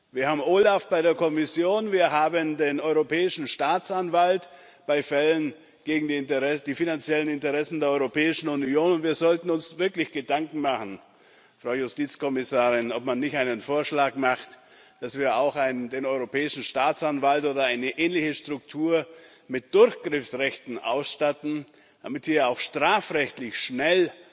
Wir haben OLAF bei der Kommission, wir haben den Europäischen Staatsanwalt bei Fällen gegen die finanziellen Interessen der Europäischen Union, und wir sollten uns wirklich Gedanken machen, Frau Justizkommissarin, ob man nicht einen Vorschlag macht, dass wir auch den Europäischen Staatsanwalt oder eine ähnliche Struktur mit Durchgriffsrechten ausstatten, damit hier auch strafrechtlich schnell